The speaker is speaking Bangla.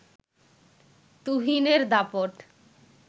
তুহিনের দাপট